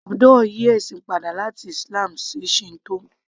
Abdul yí ẹ̀sìn padà láti Islam sí Shinto